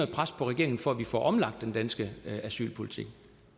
pres på regeringen for at vi får omlagt den danske asylpolitik